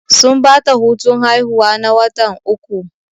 Sun bata hutun haihuwa na watan uku